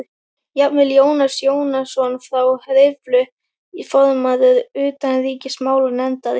Jafnvel Jónas Jónsson frá Hriflu, formaður utanríkismálanefndar